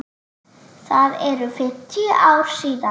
Það eru fimmtíu ár síðan.